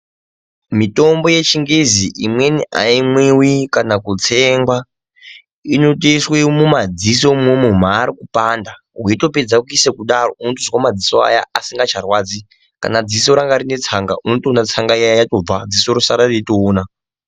Mitombo yechingezi imweni haimwivi kana kutsengwa inotoiswe mumadziso imwomwo mari kupanda. Veitopedza kuisa kudaro unotozwe madziso aya asingacharwadzi. Kana dziso rangarine tsanga unotoona tsanga iya yatobva dziso rosara reitoona.